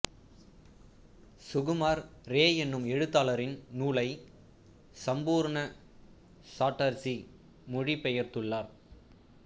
சுகுமார் ரே என்னும் எழுத்தாளரின் நூலை சம்பூர்ண சாட்டர்சி மொழி பெயர்த்துள்ளார்